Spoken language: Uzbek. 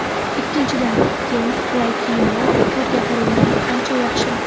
Ikkinchidan, keng, qulay kiyimlar torga qaraganda ancha yaxshiroq.